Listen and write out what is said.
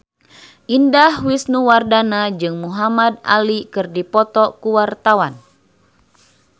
Indah Wisnuwardana jeung Muhamad Ali keur dipoto ku wartawan